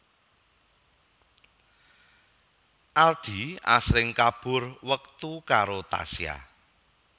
Aldi asring kabur wektu karo Tasya